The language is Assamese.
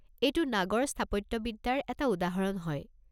এইটো নাগৰ স্থাপত্যবিদ্যাৰ এটা উদাহৰণ হয়।